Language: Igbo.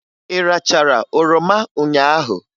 Ị rachara oroma ụnyaahụ?